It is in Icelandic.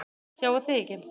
Sjáið þið ekki?